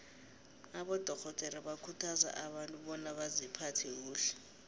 abadorhodere bakhuthaza abantu bona baziphathe kuhle